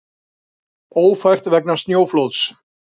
Ófært vegna snjóflóðs